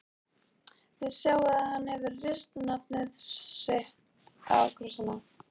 Þið sjáið að hann hefur rist nafnið sitt á krossana.